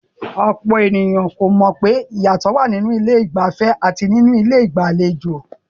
Ọ̀pọ̀ àwọn ènìyàn kò mọ̀ wípé ìyàtọ̀ wà nínú ilé ìgbafẹ́ àti ilé ìgbàlejò.